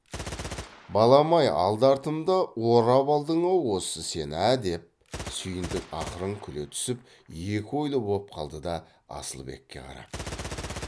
балам ай алды артымды орап алдың ау осы сен ә деп сүйіндік ақырын күле түсіп екі ойлы боп қалды да асылбекке қарап